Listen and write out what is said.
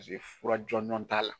Pasike fura jɔnjɔn t'a la